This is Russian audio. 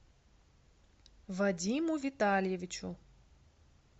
вадиму витальевичу